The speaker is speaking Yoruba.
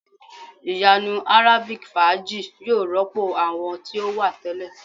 Iyanu arabic faaji yoo rọpo awọn ti o wa tẹlẹ